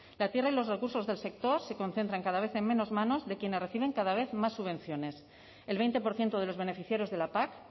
la tierra y los recursos del sector se concentran cada vez en menos manos de quienes reciben cada vez más subvenciones el veinte por ciento de los beneficiarios de la pac